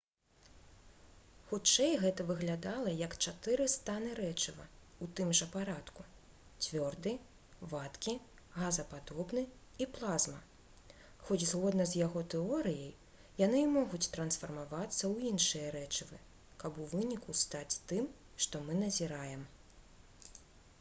хутчэй гэта выглядала як чатыры станы рэчыва у тым жа парадку: цвёрды вадкі газападобны і плазма хоць згодна з яго тэорыяй яны і могуць трансфармавацца ў іншыя рэчывы каб у выніку стаць тым што мы назіраем